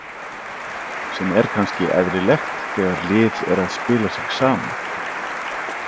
Sem er kannski eðlilegt þegar lið er að spila sig saman.